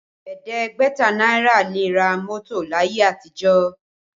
Ẹ̀ẹ́dẹ́gbẹ̀ta náírà le ra mọ́tò láyé àtijọ́